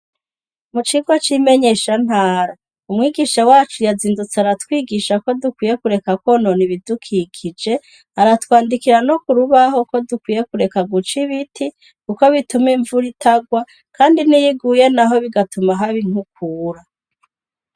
Mu cigwa cimenyesha ntara umwigisha wacu yazindutse aratwigisha ko dukwiye kureka konona ibidukikije aratwandikira no kurubaho ko dukwiye kureka guca ibiti kuko bituma imvura itagwa kandi niyiguye naho bigatuma haba inkukura.